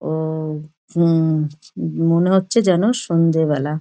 অ হুম মনে হচ্ছে যেন সন্ধ্যেবেলা।